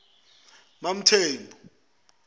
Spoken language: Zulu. mamthembu